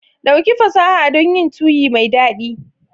Ɗauki fasaha dun yin tuyi mai dadi.